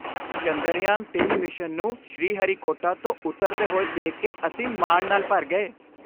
ਚੰਦਰਯਾਨ ਤਿੰਨ ਮਿਸ਼ਨ ਨੂੰ ਸ਼੍ਰੀਹਰੀਕੋਟਾ ਤੋਂ ਉਤਾਰਦੇਹੋਏ ਦੇਖ ਕੇ ਅਸੀਂ ਮਾਣ ਨਾਲ ਭਰ ਗਏ